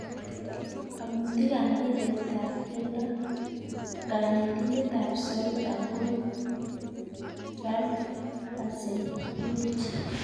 (Omutik ab mbiret ab keldo) Kanetindet ab Southampton Ralph Hasenhuttl.